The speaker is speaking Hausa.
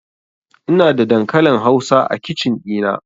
Ina da dankalin hausa a kicin ɗina